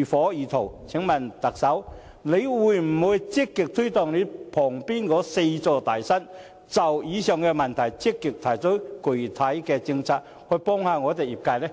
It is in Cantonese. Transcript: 如火如荼，請問特首會否積極推動你旁邊的"四座大山"，就以上問題積極提出具體政策，以幫助業界呢？